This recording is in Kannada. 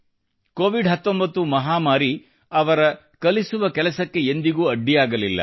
ಕೋವಿಡ್ 19 ಮಹಾಮಾರಿ ಅವರ ಕಲಿಸುವ ಕೆಲಸಕ್ಕೆ ಎಂದಿಗೂ ಅಡ್ಡಿಯಾಗಲಿಲ್ಲ